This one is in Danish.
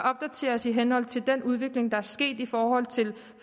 opdateres i henhold til den udvikling der er sket i forhold til